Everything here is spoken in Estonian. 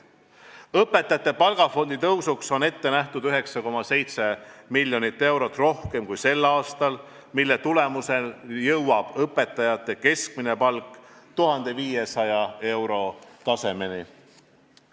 Õpetajate palgafondi suurendamiseks on ette nähtud 9,7 miljonit eurot rohkem kui sel aastal, mille tulemusel jõuab õpetajate keskmine palk 1500 euro tasemele.